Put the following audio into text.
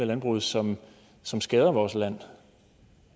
landbruget som som skader vores land